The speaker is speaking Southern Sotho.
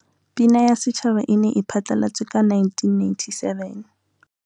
Pina ya Setjhaba e ne e phatlalatswe ka 1997.